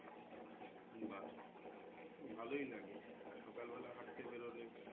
বাহ ভালোই লাগে আর সকাল বেলা হাঁটতে বেরোলে